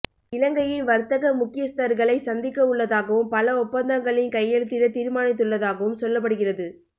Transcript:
இலங்கையின் வர்த்தக முக்கியஸ்தர்களை சந்திக்கவுள்ளதாகவும் பல ஒப்பந்தங்களில் கையெழுத்திட தீர்மானித்துள்ளதாகவும் சொல்லப்படுகிறது